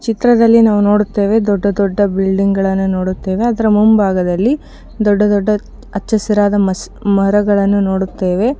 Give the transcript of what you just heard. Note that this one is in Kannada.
ನಾವು ಚಿತ್ರದಲ್ಲಿ ನೋಡುತ್ತಿದ್ದೇವೆ ದೊಡ್ಡ ದೊಡ್ಡ ಬಿಲ್ಡಿಂಗ್ ಗಳು ಅದರ ಮುಂಭಾಗದಲ್ಲಿ ದೊಡ್ಡ ದೊಡ್ಡ ಆಚಾ ಹಸಿರಿನಿಂದ ಮರಗಳನ್ನು ನೋಡುತ್ತೇವೆ.